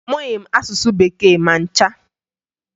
Amụghị m asụsụ Bekee ma ncha